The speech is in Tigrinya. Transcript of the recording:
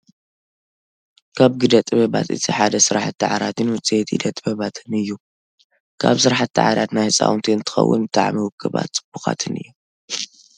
ካብ ግደ ጥበባት እቲ ሓደ ስራሕቲ ዓራትን ውፅኢት ኢደ ጥበባትን እዩ። ካብ ስራሕቲ ዓራት ናይ ህፃውንቲ እንትኾውን ብጣዕሚ ውቁባትን ፅቡቃትን እዮም።